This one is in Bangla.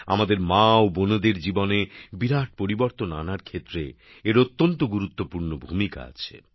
আমাদের মা ও বোনেদের জীবনে বিরাট পরিবর্তন আনার ক্ষেত্রে এর অত্যন্ত গুরুত্বপূর্ণ ভূমিকা আছে